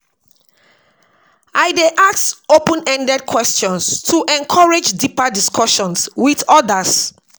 I dey ask open-ended questions to encourage deeper discussions with others